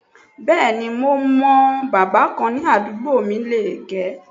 Bẹ́ẹ̀ni mo mọ̀ọ́, bábà kan ní àdúgbò mi lè -gẹ̀ ẹ́